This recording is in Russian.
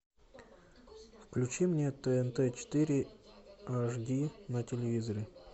включи мне тнт четыре аш ди на телевизоре